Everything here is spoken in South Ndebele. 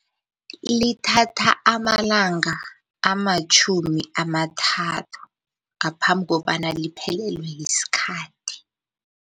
Lithatha amalanga amatjhumi amathathu ngaphambi kobana liphelelwe yiskhathi.